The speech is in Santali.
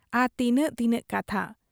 ᱟᱨᱦᱚᱸ ᱛᱤᱱᱟᱹᱜ ᱛᱤᱱᱟᱹᱜ ᱠᱟᱛᱷᱟ ᱾